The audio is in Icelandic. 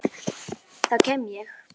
Þá kem ég